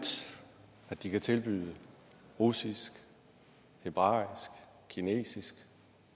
at de kan tilbyde russisk hebraisk kinesisk